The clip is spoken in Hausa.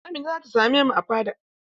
Amina za ta same mu a fada.